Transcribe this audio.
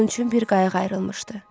Onun üçün bir qayıq ayrılmışdı.